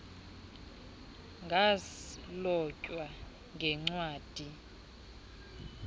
ngus mlotywa ngencwadi